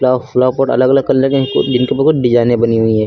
और flower code अलग अलग कलर के हैं जिनके बहुत डिजाइने बनी हुई है।